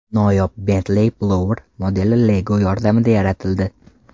Noyob Bentley Blower modeli Lego yordamida yaratildi .